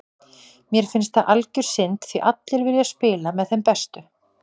Mér finnst það algjör synd því allir vilja spila með þeim bestu.